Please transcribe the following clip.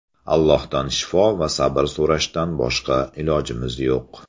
Allohdan shifo va sabr so‘rashdan boshqa ilojimiz yo‘q.